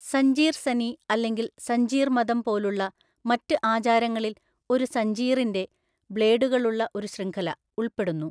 സഞ്ജീർ സനി അല്ലെങ്കിൽ സഞ്ജീർ മതം പോലുള്ള മറ്റ് ആചാരങ്ങളിൽ ഒരു സഞ്ജീറിന്റെ (ബ്ലേഡുകളുള്ള ഒരു ശൃംഖല) ഉൾപ്പെടുന്നു.